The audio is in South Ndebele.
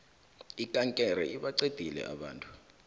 ikankere ibaqedile abantu